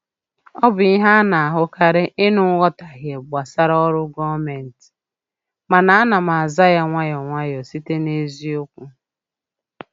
Ọ bụ ihe a na-ahụkarị ịnụ nghọtahie gbasara ọrụ gọọmentị, ma ana m aza ya nwayọ nwayọ site n’eziokwu.